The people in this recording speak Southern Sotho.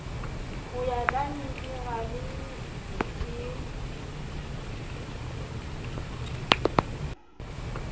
ho ya ka minerale e